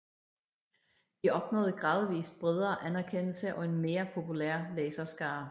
De opnåede gradvist bredere anerkendelse og en mere populær læserskare